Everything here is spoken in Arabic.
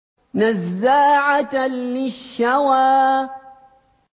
نَزَّاعَةً لِّلشَّوَىٰ